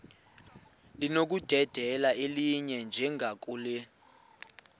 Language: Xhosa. linokudedela elinye njengakule